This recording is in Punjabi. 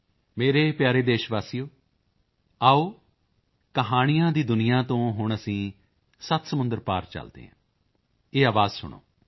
ਮੇਰੇ ਪਿਆਰੇ ਦੇਸ਼ਵਾਸੀਓ ਆਓ ਕਹਾਣੀਆਂ ਦੀ ਦੁਨੀਆ ਤੋਂ ਹੁਣ ਅਸੀਂ ਸੱਤ ਸਮੁੰਦਰ ਪਾਰ ਚਲਦੇ ਹਾਂ ਇਹ ਆਵਾਜ਼ ਸੁਣੋ